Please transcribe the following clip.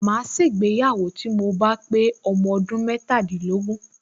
Màá ṣègbéyàwó tí mo bá pé ọmọ ọdún metàlélógún